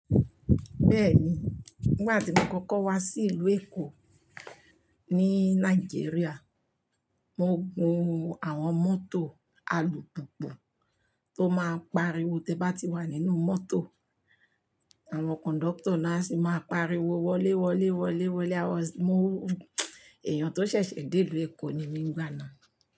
Bẹ́ẹ̀ni, nígbà tí mo kọ́kọ́ wá sí ìlú Èkó ní Nàìjíríà, mo gun àwọn mọ́tò alùpùpù tó máa ń pariwo tí ẹ bá ti wà nínú mọ́tò. Àwọn kọ̀ńdọ́tọ̀ náà sì máa pariwo wọlé, wọlé, wọlé, wọlé. Àwọn-- mo èèyàn tó ṣẹ̀ṣẹ̀ dé ìlú Èkó ni mí nígbà náà.